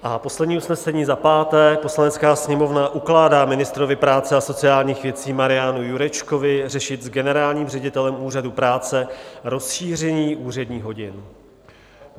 A poslední usnesení, za páté: "Poslanecká sněmovna ukládá ministrovi práce a sociálních věcí Marianu Jurečkovi řešit s generálním ředitelem Úřadu práce rozšíření úředních hodin."